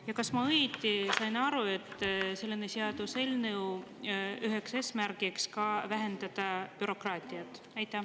Ja kas ma õieti sain aru, et selle seaduseelnõu üheks eesmärgiks ka vähendada bürokraatiat?